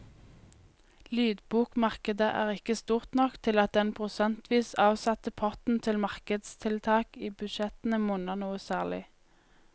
Lydbokmarkedet er ikke stort nok til at den prosentvis avsatte potten til markedstiltak i budsjettene monner noe særlig.